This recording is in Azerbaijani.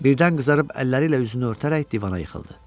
Birdən qızarıb əlləri ilə üzünü örtərək divana yıxıldı.